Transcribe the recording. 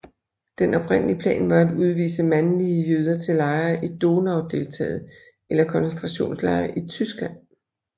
Den oprindelige plan var at udvise mandlige jøder til lejre i Donaudeltaet eller koncentrationslejre i Tyskland